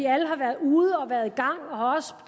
alle har været ude og været